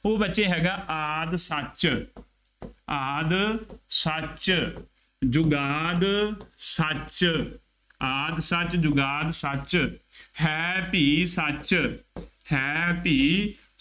ਉਹ ਬੱਚੇ ਹੈਗਾ ਆਦਿ ਸਚੁ, ਆਦਿ ਸਚੁ, ਜੁਗਾਦਿ ਸਚੁ, ਆਦਿ ਸਚੁ, ਜੁਗਾਦਿ ਸਚੁ॥ ਹੈ ਭੀ ਸਚੁ, ਹੈ ਭੀ